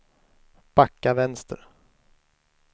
backa vänster